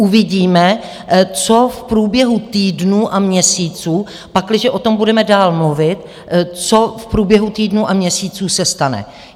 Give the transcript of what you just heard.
Uvidíme, co v průběhu týdnů a měsíců, pakliže o tom budeme dál mluvit, co v průběhu týdnů a měsíců se stane.